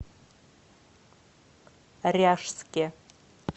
ряжске